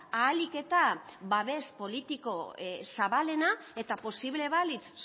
ahalik eta babes politiko zabalena eta posible balitz